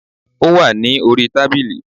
Ó wà ní orí tábìlì